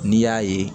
N'i y'a ye